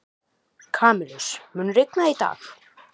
Kamilus, mun rigna í dag?